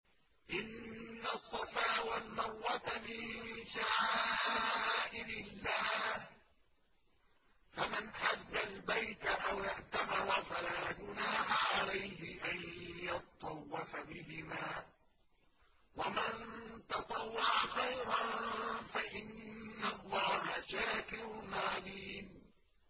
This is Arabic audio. ۞ إِنَّ الصَّفَا وَالْمَرْوَةَ مِن شَعَائِرِ اللَّهِ ۖ فَمَنْ حَجَّ الْبَيْتَ أَوِ اعْتَمَرَ فَلَا جُنَاحَ عَلَيْهِ أَن يَطَّوَّفَ بِهِمَا ۚ وَمَن تَطَوَّعَ خَيْرًا فَإِنَّ اللَّهَ شَاكِرٌ عَلِيمٌ